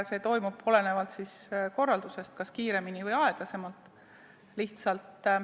See toimub olenevalt korraldusest kas kiiremini või aeglasemalt.